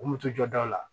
U moto jɔda la